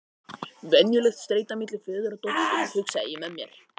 Venjuleg streita milli föður og dóttur, hugsaði ég með mér.